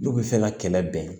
N'u bɛ fɛ ka kɛlɛ bɛn